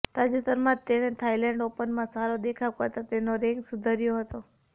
તાજેતરમાં જ તેણે થાઇલેન્ડ ઓપનમાં સારો દેખાવ કરતા તેનો રેન્ક સુધર્યો હતો